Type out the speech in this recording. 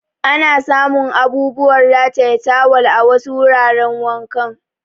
Ana samun abubuwan rataye tawal a wasu wuraran wanka.